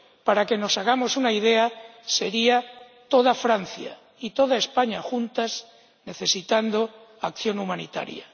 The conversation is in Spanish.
Para que nos hagamos una idea, toda Francia y toda España juntas necesitarían acción humanitaria.